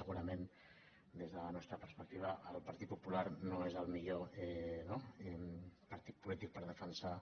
segurament des de la nostra perspectiva el partit popular no és el millor partit polític per defensar